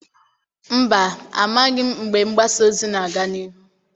Mba, amaghị m mgbe mgbasa ozi na-aga n'ihu.